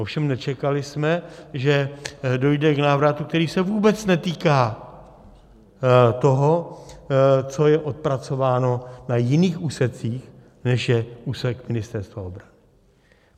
Ovšem nečekali jsme, že dojde k návratu, který se vůbec netýká toho, co je odpracováno na jiných úsecích, než je úsek Ministerstva obrany.